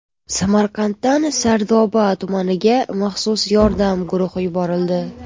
Samarqanddan Sardoba tumaniga maxsus yordam guruhi yuborildi.